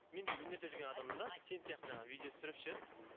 мен де өнерде жүрген адаммын да сен сияқты жаңағы видео түсіріп ше